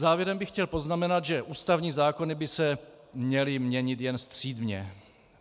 Závěrem bych chtěl poznamenat, že ústavní zákony by se měly měnit jenom střídmě.